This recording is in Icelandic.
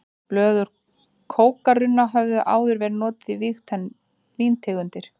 Blöð úr kókarunna höfðu áður verið notuð í víntegundir.